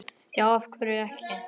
Já, af hverju ekki?